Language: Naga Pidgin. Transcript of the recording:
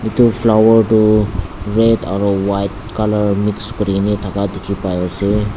etu flower toh red aro white colour mix kuri ne thaka dikhi pa ase.